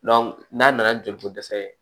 n'a nana ni joli ko dɛsɛ ye